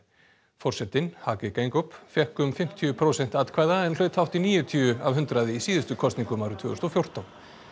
forsetinn Hage Geingob fékk um fimmtíu prósent atkvæða en hlaut hátt í níutíu af hundraði í síðustu kosningum árið tvö þúsund og fjórtán